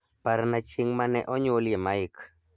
Parna chieng' ma ne onyuolie Mike